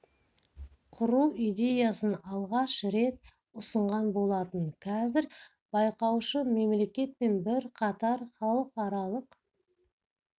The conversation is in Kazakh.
құру идеясын алғаш рет ұсынған болатын қазір кеңеске әлемнің мемлекеті байқаушы мемлекет пен бірқатар халықаралық